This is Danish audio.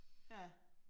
Ja